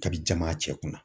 K'a bi jaman a cɛ kunna!